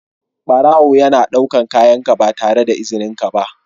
Barawo yana ɗaukar kayanka ba tare da izininka ba.